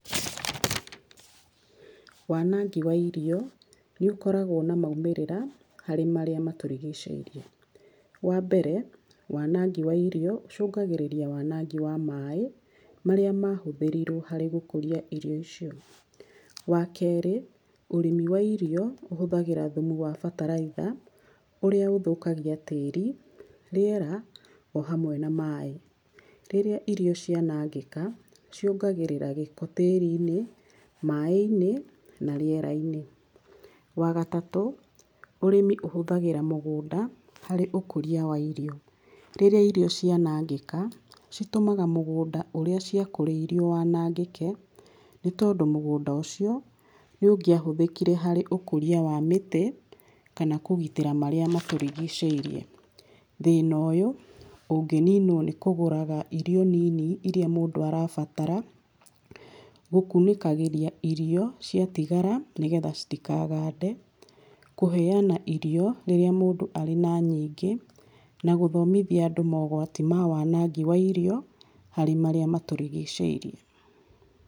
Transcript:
Wanangi wa irio nĩũkoragwo na maumĩrĩra harĩ marĩa matũrigicĩirie. Wambere wanangi wa irio ũcũngagĩrĩria wanangi wa maaĩ marĩa mahũthĩrirwo harĩ gũkũria irio icio. Wakerĩ, ũrĩmi wa irio ũhũthagĩra thumu wa bataraitha ũrĩa ũthũkagia tĩĩri, rĩera ohamwe na maaĩ. Rĩrĩa irio cianangĩka, ciongagĩrĩra gĩko tĩĩri-inĩ, maaĩ-inĩ na rĩera-inĩ. Wagatatũ, ũrĩmi ũhũthagĩra mũgũnda harĩ ũkũria wa irio. Rĩrĩa irio cianangĩka citũmaga mũgũnda ũrĩa ciakũrĩirio wanangĩke, nĩtondũ mũgũnda ũcio nĩũngĩahũthĩkire harĩ ũkũria wa mĩtĩ kana kũgitĩra marĩa matũrigicĩirie. Thĩnoyũ ũngĩninwo nĩ kũgũraga irio nini iria mũndũ arabatara, gũkunĩkagĩria irio ciatigara nĩgetha citikagande, kũheana irio rĩrĩa mũndũ arĩ na nyingĩ, na gũthomithia andũ mogwati ma wanangi wa irio harĩ marĩa matũrigĩcĩirie.